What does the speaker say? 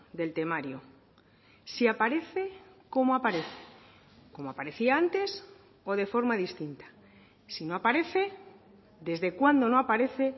del temario si aparece cómo aparece como aparecía antes o de forma distinta si no aparece desde cuándo no aparece